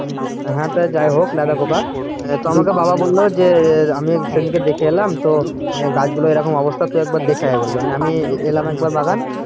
হ্যাঁ তা যাই হোক লেদা পোকা তো আমাকে বাবা বলল যে আমি সে দিনকে দেখে এলাম তো গাছ গুলোর অবস্থা তুই একবার দেখে আয় বললো নিয়ে আমি এলাম একবার বাগান।